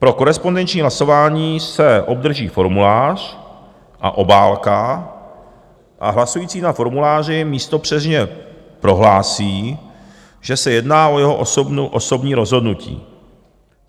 Pro korespondenční hlasování se obdrží formulář a obálka a hlasující na formuláři místopřísežně prohlásí, že se jedná o jeho osobní rozhodnutí.